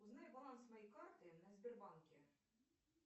узнай баланс моей карты на сбербанке